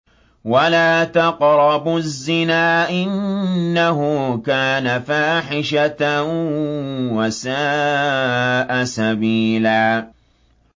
وَلَا تَقْرَبُوا الزِّنَا ۖ إِنَّهُ كَانَ فَاحِشَةً وَسَاءَ سَبِيلًا